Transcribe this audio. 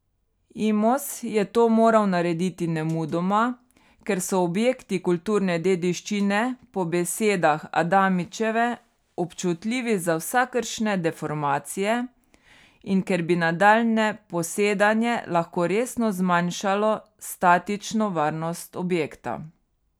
Imos je to moral narediti nemudoma, ker so objekti kulturne dediščine po besedah Adamičeve občutljivi za vsakršne deformacije in ker bi nadaljnje posedanje lahko resno zmanjšalo statično varnost objekta.